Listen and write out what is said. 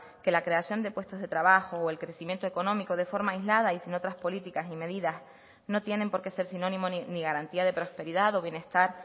que la creación de puestos de trabajo o el crecimiento económico de forma aislada y sin otras políticas y medidas no tienen por qué ser sinónimo ni garantía de prosperidad o bienestar